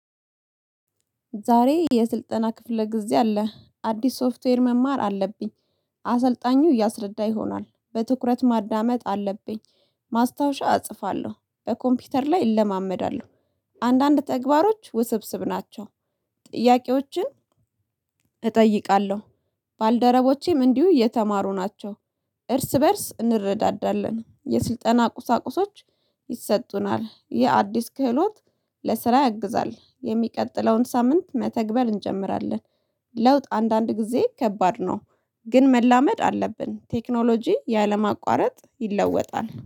ዛሬ የስልጠና ክፍለ ጊዜ አለ አዲስ ሶፍትዌር መማር አለብኝ። አሰልጣኙ እያስረዳ ይሆናል በትኩረት ማዳመጥ አለብኝ። ማስታወሻ እጽፋለሁ በኮምፒውተር ላይ እለማመዳለሁ። አንዳንድ ተግባሮች ውስብስብ ናቸው። ጥያቄዎችን እጠይቃለሁ። ባልደረቦቼም እንዲሁ የተማሩ ናቸው። እርስ በእርስ እንረዳዳለን። የስልጠና ቁሳቁሶች ይሰጡናል። ይህ አዲስ ክህሎት ለስራ ያግዛል። የሚቀጥለውን ሳምንት መተግበር እንጀምራለን። ለውጥ አንዳንድ ጊዜ ከባድ ነው። ግን መላመድ አለብን። ቴክኖሎጂ ያለማቋረጥ ይለወጣል